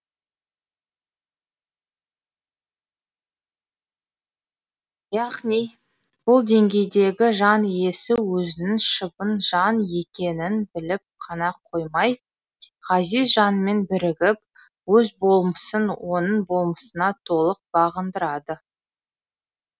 яғни бұл деңгейдегі жан иесі өзінің шыбын жан екенін біліп қана қоймай ғазиз жанмен бірігіп өз болмысын оның болмысына толық бағындырады